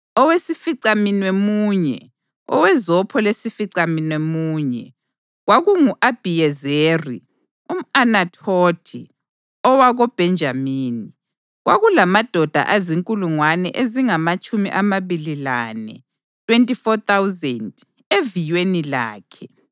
Owesificamunwemunye, owezopho lesificamunwemunye, kwakungu-Abhiyezeri umʼAnathothi owakoBhenjamini. Kwakulamadoda azinkulungwane ezingamatshumi amabili lane (24,000) eviyweni lakhe.